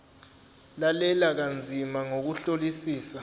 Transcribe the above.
lalela kanzima ngokuhlolisisa